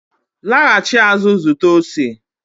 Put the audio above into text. laghachi azụ zụta ose